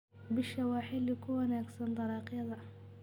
Bisha waa xilli ku wanaagsan dalagyada.